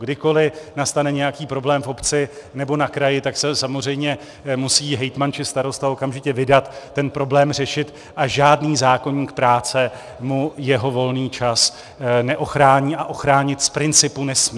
Kdykoliv nastane nějaký problém v obci nebo na kraji, tak se samozřejmě musí hejtman či starosta okamžitě vydat ten problém řešit a žádný zákoník práce mu jeho volný čas neochrání a ochránit z principu nesmí.